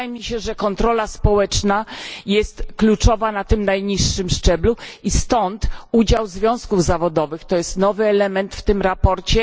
Wydaje mi się, że kontrola społeczna jest kluczowa na tym najniższym szczeblu i stąd udział związków zawodowych, co jest nowym elementem w tym sprawozdaniu.